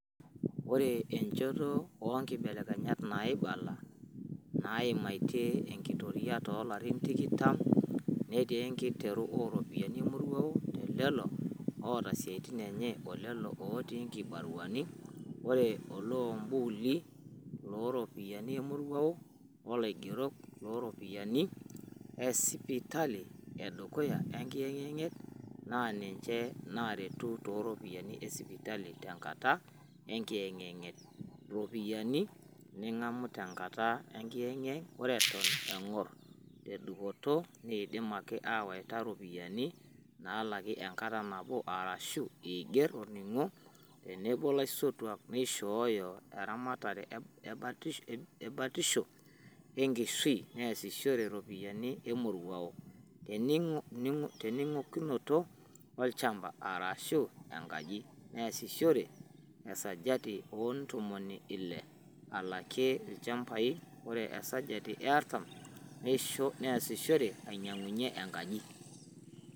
Ore enjoto oongibelekenyat naibala naaimatia eenkitoria too larin tikitam netii enkiteru ooropiyiani emoruao telelo oota isiatin enye olelo ootii ingibaruani; Ore oluambuli looropiyiani emorua oo laigerok; ropyiani esipitali edukuya enkiyengiyeng naaninje naaretu tooropiyiani esipitali tenkata enkiyengiyeng; ropiyiani ningamu tenkata enginyengiyeng (Ore eton engor ne dupoto neidim ake aawaita iropiyiani naalaki enkata nabo arashu iger orning'o tenebo laisotuak looishoyo eramatare e batisho eng'shui) neesishore iropiyiani emoruao tenginyangunoto olchamba arashu engaji (neesishore esajati oo ntomoni ile alakia ilchambai ore esajati e artam nesishore anyiangunyia enkaji).